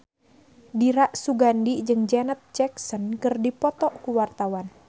Dira Sugandi jeung Janet Jackson keur dipoto ku wartawan